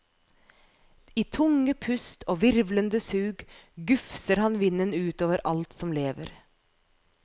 I tunge pust og hvirvlende sug gufser han vinden ut over alt som lever.